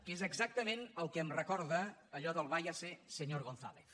que és exactament el que em recorda allò del váyase señor gonzález